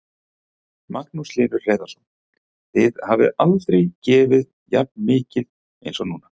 Magnús Hlynur Hreiðarsson: Þið hafið aldrei gefið jafn mikið eins og núna?